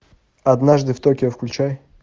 однажды в токио включай